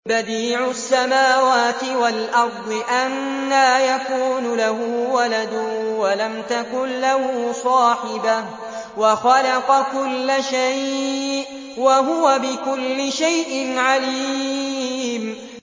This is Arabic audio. بَدِيعُ السَّمَاوَاتِ وَالْأَرْضِ ۖ أَنَّىٰ يَكُونُ لَهُ وَلَدٌ وَلَمْ تَكُن لَّهُ صَاحِبَةٌ ۖ وَخَلَقَ كُلَّ شَيْءٍ ۖ وَهُوَ بِكُلِّ شَيْءٍ عَلِيمٌ